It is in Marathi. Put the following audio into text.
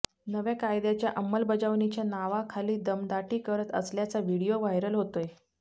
नव्या कायद्याच्या अंमलबजावणीच्या नावाखाली दमदाटी करत असल्याचा व्हिडीओ व्हायरल होतोय